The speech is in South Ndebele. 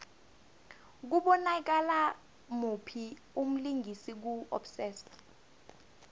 kubonakala muphi umlingisi ku obsessed